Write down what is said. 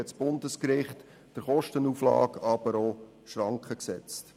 Gleichzeitig hat das Bundesgericht aber auch der Kostenauflage Schranken gesetzt.